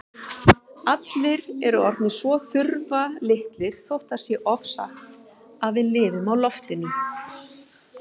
Allir eru orðnir svo þurftarlitlir þótt það sé ofsagt að við lifum á loftinu.